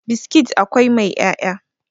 biskit akwai mai 'ya'ya